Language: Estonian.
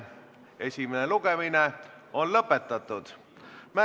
Palun siia rahanduskomisjoni liikme Andres Suti.